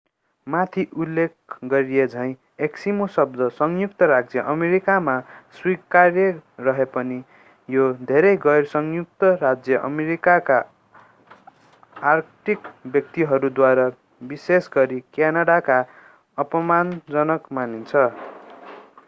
माथि उल्लेख गरिएझैं एस्किमो शब्द संयुक्त राज्य अमेरिकामा स्वीकार्य रहे पनि यो धेरै गैर-संयुक्त राज्य अमेरिकाका आर्कटिक व्यक्तिहरूद्वारा विशेष गरी क्यानाडामा अपमानजनक मानिन्छ।